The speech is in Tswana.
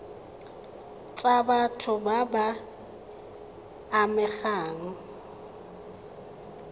tsa batho ba ba amegang